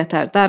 Darıxma.